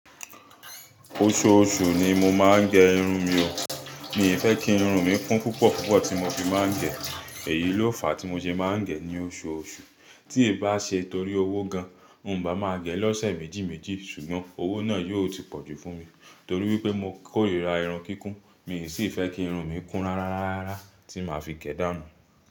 Oṣooṣù ni mo máa ń gẹ irun mi o. Mi ò fẹ́ kí irun mi kún púpọ̀púpọ̀ tí mo fi máa ń gẹ. Èyí ló fàá tí mo ṣe máa ń gẹ ní oṣooṣù. Tí ì bá ṣe torí owó gan, mi ń bá máa gẹ lọ́sẹ̀ méjì méjì ṣùgbọ́n owó náà yóò ti pọ̀jù fún mi torí wípé mo kórìíra irun kíkún. Mi ò sì fẹ́ kí irun mi kún rárárárára tí màá fi gẹ̀ dá'nú.